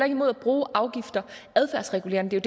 imod at bruge afgifter adfærdsregulerende det er